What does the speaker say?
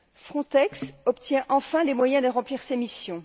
Frontex obtient enfin les moyens de remplir ses missions.